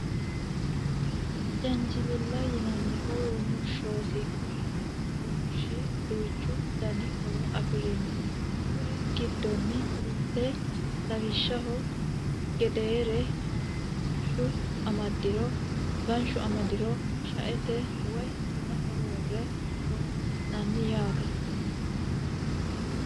Jaanjiweelo yinanni rumushshooti Kuni rumushshi duuchu Dani horo afirino kuriuu giddonni mitte lawwishahu gedera hanshu amadiro shaete woye bunaho worre horoonsi'nani yaate